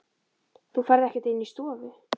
Þú ferð ekkert inn í stofu!